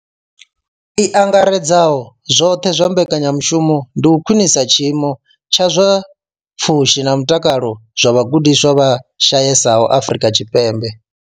I angaredzaho zwoṱhe ya mbekanyamushumo ndi u khwinisa tshiimo tsha zwa pfushi na mutakalo zwa vhagudiswa vha shayesaho Afrika Tshipembe.